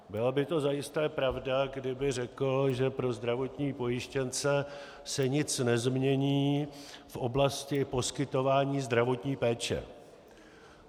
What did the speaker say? Byla by to zajisté pravda, kdyby řekl, že pro zdravotní pojištěnce se nic nezmění v oblasti poskytování zdravotní péče.